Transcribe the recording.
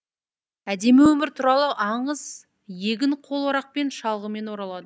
әдемі өмір туралы аңыз егін қол орақпен шалғымен орылады